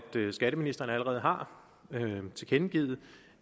skatteministeren allerede har tilkendegivet